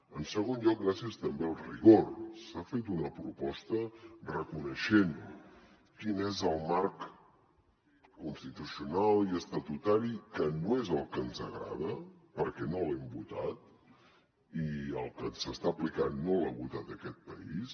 en segon lloc gràcies també al rigor s’ha fet una proposta reconeixent quin és el marc constitucional i estatutari que no és el que ens agrada perquè no l’hem votat i el que s’està aplicant no l’ha votat aquest país